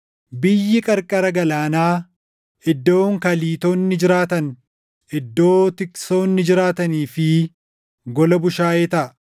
Biyyi qarqara galaanaa, iddoon Kaliitonni jiraatan, iddoo tiksoonni jiraatanii fi gola bushaayee taʼa.